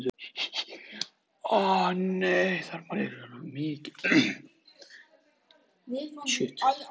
Þér hefur þótt vænt um mig allan tímann.